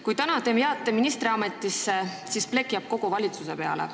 Kui te jääte täna ministriametisse, siis plekk jääb kogu valitsuse peale.